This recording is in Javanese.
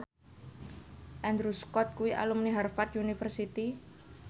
Andrew Scott kuwi alumni Harvard university